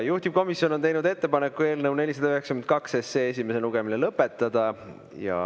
Juhtivkomisjon on teinud ettepaneku eelnõu 492 esimene lugemine lõpetada.